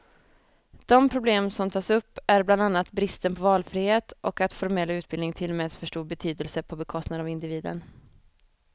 De problem som tas upp är bland annat bristen på valfrihet och att formell utbildning tillmäts för stor betydelse, på bekostnad av individen.